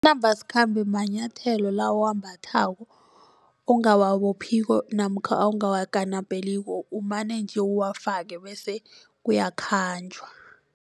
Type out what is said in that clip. Nambasikhambe manyathelo la owambathako ongawabophiko namkha ongawakanapeliko umane nje uwafake bese kuyakhanjwa.